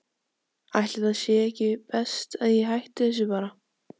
Ætli það sé ekki best að ég hætti þessu bara.